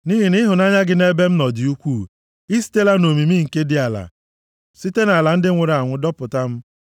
Nʼihi na ịhụnanya gị nʼebe m nọ dị ukwuu; i sitela nʼomimi nke dị ala site nʼala ndị nwụrụ anwụ dọpụta m.